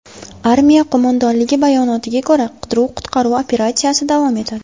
Armiya qo‘mondonligi bayonotiga ko‘ra, qidiruv-qutqaruv operatsiyasi davom etadi.